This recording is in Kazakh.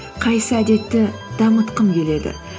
қайсы әдетті дамытқым келеді